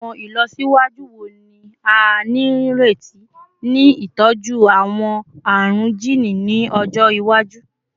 Awọn ilọsiwaju wo ni a nireti ni itọju awọn arun jiini ni ọjọ iwaju?